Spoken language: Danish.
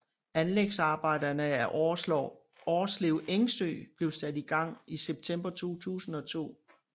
Anlægsarbejderne af Årslev Engsø blev sat i gang i september 2002